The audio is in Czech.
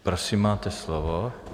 Prosím, máte slovo.